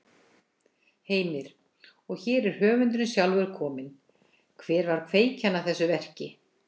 Heimir: Og hér er höfundurinn sjálfur kominn, hver var kveikjan að þessu verki?